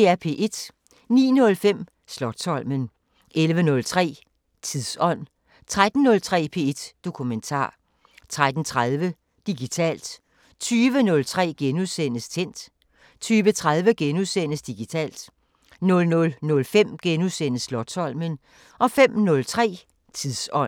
09:05: Slotsholmen 11:03: Tidsånd 13:03: P1 Dokumentar 13:30: Digitalt 20:03: Tændt * 20:30: Digitalt * 00:05: Slotsholmen * 05:03: Tidsånd